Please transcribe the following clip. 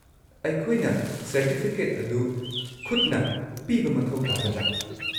ꯑꯩꯈꯣꯏꯅ ꯁꯔꯇꯤꯐꯤꯀꯦꯠ ꯑꯗꯨ ꯈꯨꯠꯅ ꯄꯤꯕ ꯃꯊꯧ ꯇꯥꯒꯗ꯭ꯔꯥ?